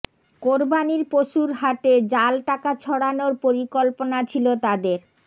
কোরবানির পশুর হাটে জাল টাকা ছড়ানোর পরিকল্পনা ছিল তাদের